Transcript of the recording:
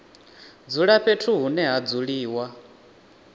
dzula fhethu hune ha dzuliwa